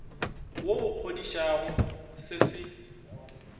wo o kgodišang se se